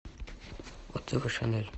отзывы шанель